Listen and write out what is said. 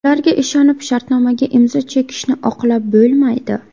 Ularga ishonib, shartnomaga imzo chekishni oqlab bo‘lmaydi.